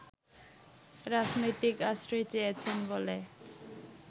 রাজনৈতিক আশ্রয় চেয়েছেন বলে